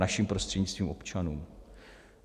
Naším prostřednictvím občanům.